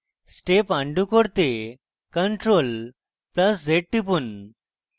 step undo করতে ctrl + z টিপুন